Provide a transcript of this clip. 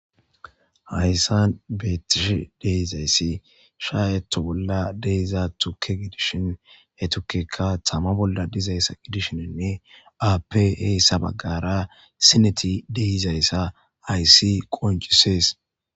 Hayisan betishe deizayisi shaeto bola deiza tuke gidishin he tukeka tama bola dizayisa gidishinnee afe esa bagara sineti deizayisa hayisi qoncises.